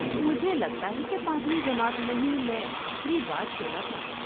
مجھے لگتا ہے کہ پانچویں جماعت میں ہی میں آخری بار کھیلا تھا۔